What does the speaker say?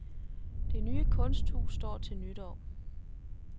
Det nye kunsthus står til nytår.